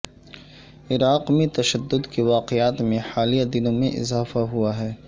عراق میں تشدد کے واقعات میں حالیہ دنوں میں اضافہ ہوا ہے